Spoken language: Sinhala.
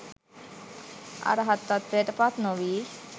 අරහත්වයට පත්නොවී